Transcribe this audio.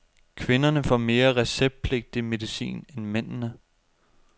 Kvinderne får mere receptpligtig medicin end mændene.